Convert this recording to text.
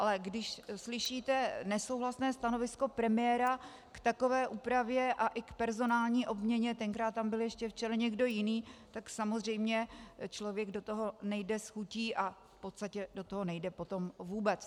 Ale když slyšíte nesouhlasné stanovisko premiéra k takové úpravě a i k personální obměně, tenkrát tam byl ještě v čele někdo jiný, tak samozřejmě člověk do toho nejde s chutí a v podstatě do toho nejde potom vůbec.